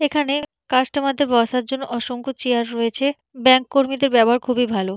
এখানে কাস্টমার দেড় বসার জন্য অসংখ চেয়ার রয়েছে। ব্যাঙ্ক কর্মীদের ব্যবহার খুবই ভালো।